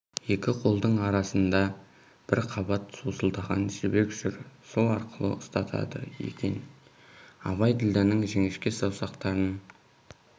екі қолдың арасында бір қабат сусылдаған жібек жүр сол арқылы ұстатады екен абай ділдәнің жіңішке саусақтарын